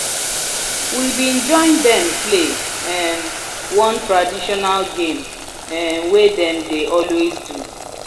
we been join them play um one traditional game um wey them dey always do